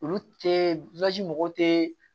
Olu tee mɔgɔw te